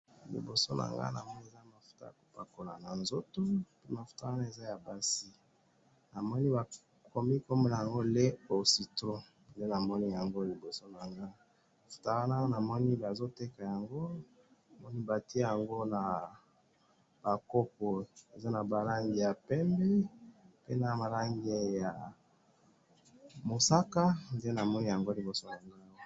liboso nangai namoni eza mafuta yakopakola na nzoto, pe mafuta wana eza ya basi, namoni bakomi kobenga yango lait aux citrons, nde namoni yango liboso nangai mafuta wana, namoni bazoteka yango, namoni batie yango naba kopo eza naba langi ya pembe, pe naba langi ya mosaka , nde namoni yango liboso nagai awa